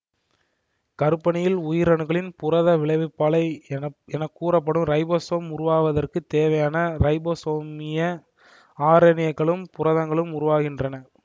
கருப்பருனியில் உயிரணுக்களின் புரத விளைவிப்பாலை வெளி வெளி கூறப்படும் ரைபோசோம் உருவாவதற்குத் தேவையான ரைபோசோமிய ஆர்என்ஏக்களும் புரதங்களும் உருவாகின்றன